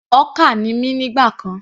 Hawker ni mí nígbà kan.